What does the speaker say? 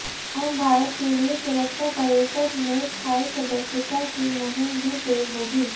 अब भारत के लिए सुरक्षा परिषद में स्थायी सदस्यता की मुहिम भी तेज होगी